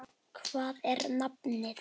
Hvað er nafnið?